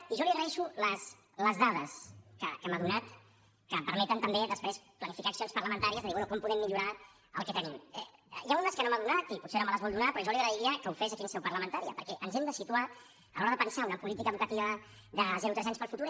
i jo li agraeixo les dades que m’ha donat que permeten també després planificar accions parlamentàries de dir bé com podem millorar el que tenim n’hi ha unes que no m’ha donat i potser no me les vol donar però jo li agrairia que ho fes aquí en seu parlamentària perquè ens hem de situar a l’hora de pensar una política educativa de zero tres anys per al futur